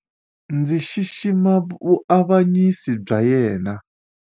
Ndzi xixima vuavanyisi bya yena.